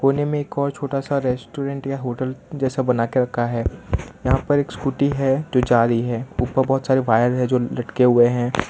कोने मे एक और छोटा सा रेस्टोरेंट या होटल जैसा बनाके रखा है यहां पर एक स्कूटी है जो जा रही है ऊपर बहोत सारे वायर है जो लटके हुए है।